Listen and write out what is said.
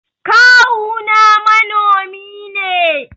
Kawu na manomi ne.